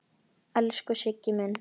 Elsku Siggi minn.